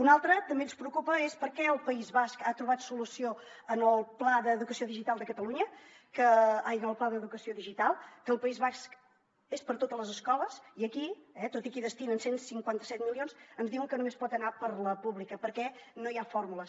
un altre també ens preocupa és per què el país basc ha trobat solució en el pla d’educació digital que al país basc és per a totes les escoles i aquí eh tot i que hi destinen cent i cinquanta set milions ens diuen que només pot anar per a la pública perquè no hi ha fórmules